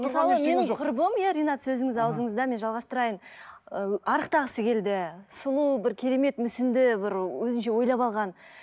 мысалы менің құрбым иә ринат сөзіңіз ауызыңызда мен жалғастырайын ы арықтағысы келді сұлу бір керемет мүсінді бір өзінше ойлап алған